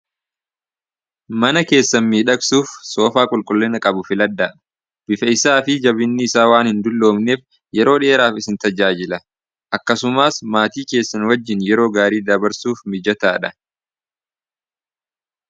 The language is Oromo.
mana keessan midhaqsuuf soofaa qulqullina qabu filaddaadha bifeeysaa fi jabinni isaa waan hin dulloomneef yeroo dhi'eraaf isin tajaajila akkasumaas maatii keessan wajjiin yeroo gaarii dabarsuuf mijataadha